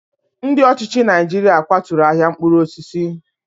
Ndị ọchịchị Naijiria kwaturu ahịa mkpụrụ osisi.